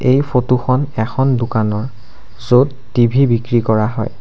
এই ফটোখন এখন দোকানৰ য'ত টি_ভি বিক্ৰী কৰা হয়।